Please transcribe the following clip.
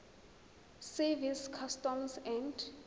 service customs and